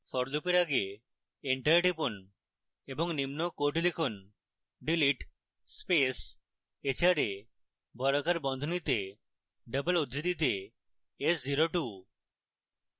for লুপের আগে enter টিপুন এবং নিম্ন code লিখুন: delete স্পেস hra বর্গাকার বন্ধনীতে ডবল উদ্ধৃতিতে s02